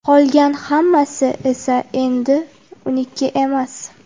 Qolgan hammasi esa endi uniki emas.